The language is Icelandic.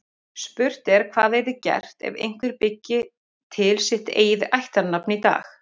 Spurt er hvað yrði gert ef einhver byggi til sitt eigið ættarnafn í dag.